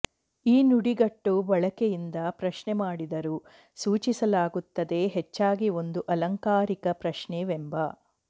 ಈ ನುಡಿಗಟ್ಟು ಬಳಕೆಯಿಂದ ಪ್ರಶ್ನೆ ಮಾಡಿದರು ಸೂಚಿಸಲಾಗುತ್ತದೆ ಹೆಚ್ಚಾಗಿ ಒಂದು ಆಲಂಕಾರಿಕ ಪ್ರಶ್ನೆ ವೆಂಬ